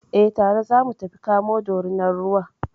Eh, tare za mu tafi kamo Dorinar ruwa.